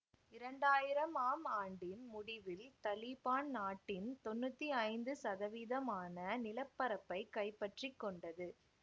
இரண்டாயிரமாம் ஆண்டின் முடிவில் தலீபான் நாட்டின் தொன்னூத்தி ஐந்து சதவீதமான நில பரப்பை கைப்பற்றிக்கொண்டது